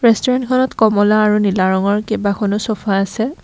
ৰেষ্টোৰেণ্টখনত কমলা আৰু নীলা ৰঙৰ কেইবাখনো চ'ফা আছে।